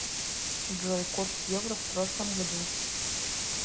джой курс евро в прошлом году